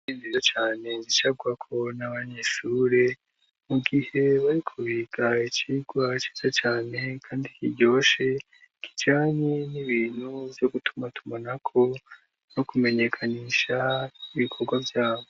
Intebe nziza cane zicarwako n'abanyeshure mugihe bariko biga icigwa ciza cane kandi kiryoshe kijanye n'ibintu vyo gutumatumanako no kumenyesha ibikorwa vyabo.